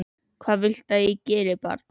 Hvað viltu að ég geri, barn?